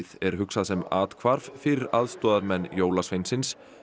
er hugsað sem athvarf fyrir aðstoðarmenn jólasveinsins